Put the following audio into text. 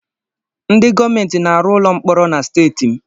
Ndị gọọmentị na-arụ ụlọ mkpọrọ na steeti m